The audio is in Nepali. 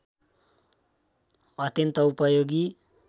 अत्यन्त उपयोगी